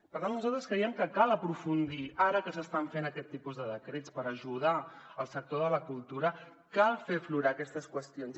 per tant nosaltres creiem que cal aprofundir ara que s’estan fent aquest tipus de decrets per ajudar al sector de la cultura cal fer aflorar aquestes qüestions